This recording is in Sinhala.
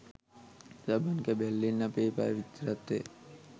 සබන් කැබැල්ලෙන් අපේ පවිත්‍රත්වය